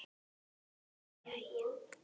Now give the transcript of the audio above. Jæja nú jæja.